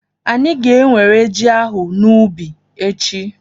Anyị ga-enwere ji ahụ n'ubi echi.